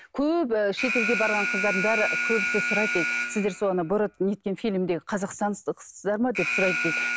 көп шетелге барған қыздардың бәрі көбісі сұрайды дейді сіздер сол ана борат не еткен фильмдегі ма деп сұрайды дейді